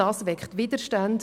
das weckt Widerstände;